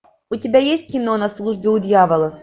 у тебя есть кино на службе у дьявола